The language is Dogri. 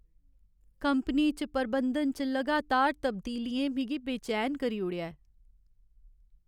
कंपनी च प्रबंधन च लगातार तब्दीलियें मिगी बेचैन करी ओड़ेआ ऐ।